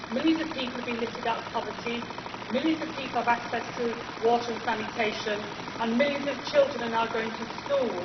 Millions of people have been lifted out of poverty, millions of people now have access to water and sanitation and millions of children are now going to school.